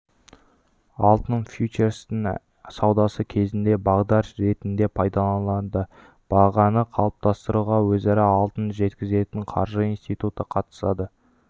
алтын фьючерстерінің саудасы кезінде бағдар ретінде пайдаланылады бағаны қалыптастыруға өзара алтын жеткізетін қаржы институты қатысады